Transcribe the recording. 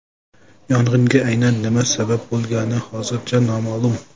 Yong‘inga aynan nima sabab bo‘lgani hozircha noma’lum.